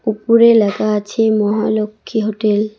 উপরে লেখা আছে মহালক্ষী হোটেল ।